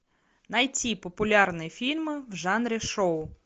найти популярные фильмы в жанре шоу